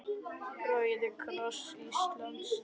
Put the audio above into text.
Rauði kross Íslands